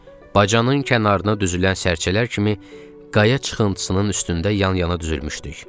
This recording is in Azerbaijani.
Bacanın kənarına düzülən sərçələr kimi qaya çıxıntısının üstündə yan-yana düzülmüşdük.